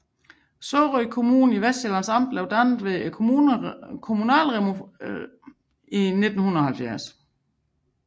Sorø Kommune i Vestsjællands Amt blev dannet ved kommunalreformen i 1970